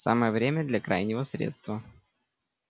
самое время для крайнего средства